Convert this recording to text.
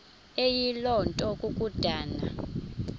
eyiloo nto kukodana